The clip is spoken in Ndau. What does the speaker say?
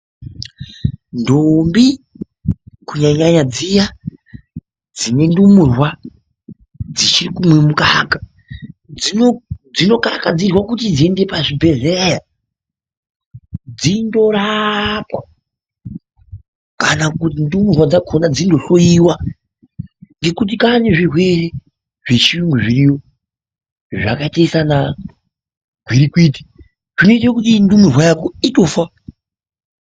Ndombi kunyanyanyanya dziya dzine ndumururwa dzichirikumwe mukaka dzinokarakadzirwa kuti dziende pazvibhehleya dzindorapwa kana kuti ndumurwa dzakona dzindohloyiwa ngekuti kwaane zvirwere zvechiyungu zviriyo zvakaite sana gwirikwiti zvinoite kuti ndumurwa yako itofa.